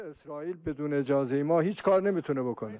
İsrail icazə heç nə edə bilməz.